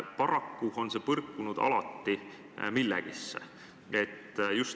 Paraku on see alati millelegi põrkunud.